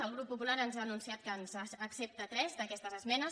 el grup popular ens ha anunciat que ens n’accepta tres d’aquestes esmenes